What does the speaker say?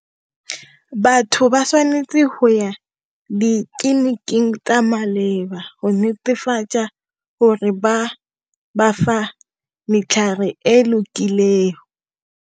Batho ba tshwanetse go ya ditleliniking ka maleba go netefatsa gore ba bafa e e lokileng.